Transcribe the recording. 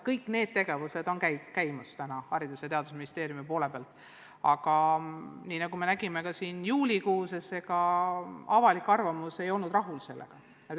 Kõik need tegevused Haridus- ja Teadusministeeriumis toimuvad, aga nagu me nägime ka juulikuus, ega avalik arvamus ei olnud sellega rahul.